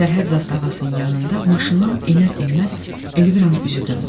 Sərhəd zastavasının yanında maşından enər-enməz Elviranın üzü döndü.